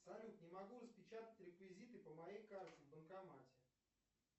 салют не могу распечатать реквизиты по моей карте в банкомате